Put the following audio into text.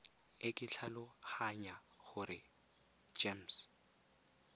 e ke tlhaloganya gore gems